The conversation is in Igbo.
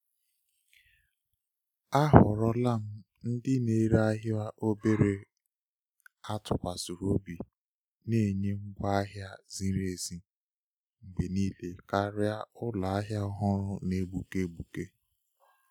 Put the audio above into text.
A họrọla m ndị na-ere ahịa obere a tụkwasịrị obi na-enye ngwa ahịa ziri ezi mgbe niile karịa ụlọ ahịa ọhụrụ na-egbuke egbuke.